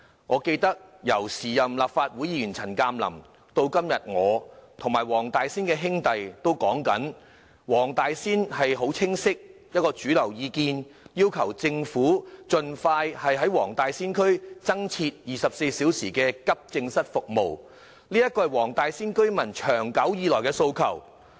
我記得，由前任立法會議員陳鑑林，以至今天的我及黃大仙區的"兄弟"也一直提出，黃大仙區的主流意見很清晰，便是要求政府盡快在黃大仙區增設24小時急症室服務，這是區內居民長久以來的訴求。